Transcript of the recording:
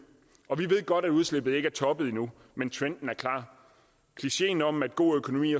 og vi ved godt at udslippet ikke har toppet nu men trenden er klar klicheen om at god økonomi